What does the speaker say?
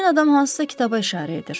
Həmin adam hansısa kitaba işarə edir.